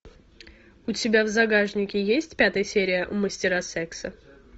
у тебя в загашнике есть пятая серия мастера секса